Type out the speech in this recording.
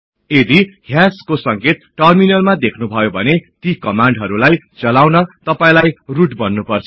यदि हयास को संकेत टर्मिनलमा देख्नु भयो भने ती कमान्डहरुलाई चलाउन तपाईलाई रुट बन्नुपर्छ